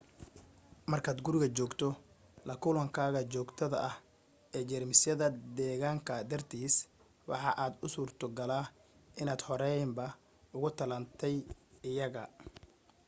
markaad guriga joogto la kulankaaga joogtada ah ee jeermisyada deegaanka dartiisa waxa aad u suurtogala inaad horeyba uga tallaalantay iyaga